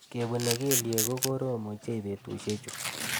Kepune kelyek ko korom ochei betushechu